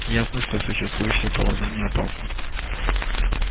ясно что существующее положение опасно